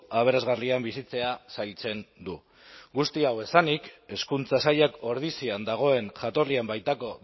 aberasgarrian bizitzea zailtzen du guzti hau esanik hezkuntza sailak ordizian dagoen jatorrian baitako